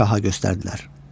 Şaha göstərdilər.